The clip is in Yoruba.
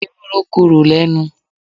Ewúro korò lẹ́nu